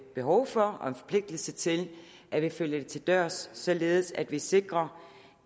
behov for og en forpligtelse til at vi følger det til dørs således at vi sikrer